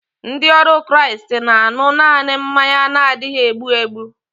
Ndị ọrụ Kraịst na-aṅu naanị mmanya na-adịghị egbu egbu